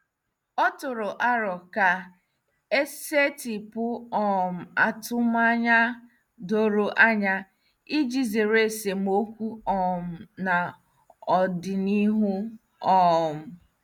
O tụrụ aro ka e setịpụ um atụmanya doro anya iji zere esemokwu um n'ọdịnihu. um